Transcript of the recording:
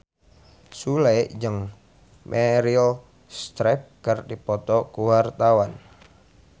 Sule jeung Meryl Streep keur dipoto ku wartawan